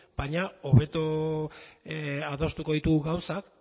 baina hobeto adostuko ditugu gauzak